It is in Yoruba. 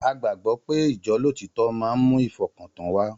A gbàgbọ́ pé ijolotítọ́ máa ń mú ìfọkàntàn wá